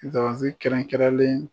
Zanbansi kɛrɛnkɛrɛnlen